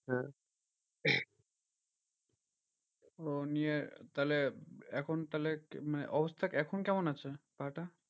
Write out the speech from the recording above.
হ্যাঁ ওহ নিয়ে তাহলে এখন তাহলে অবস্থা এখন কেমন আছে পা টা?